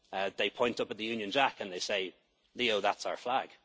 English kids. They point at the Union Jack, and they say, Leo, that's